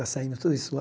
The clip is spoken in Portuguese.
Tá saindo tudo isso lá?